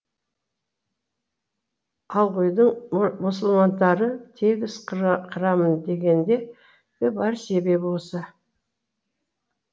алғұйдың мұсылмандарды тегіс қырамын дегендегі бар себебі осы